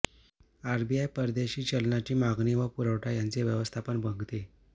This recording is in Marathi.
आरबीआय परदेशी चलनाची मागणी व पुरवठा यांचे व्यवस्थापन बघते